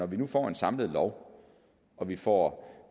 vi nu får en samlet lov og vi får